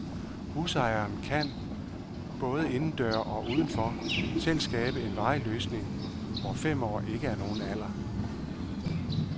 Husejeren kan, både indendøre og uden for, selv skabe en varig løsning, hvor fem år ikke er nogen alder.